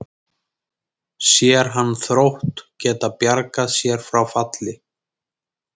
Sér hann Þrótt geta bjargað sér frá falli?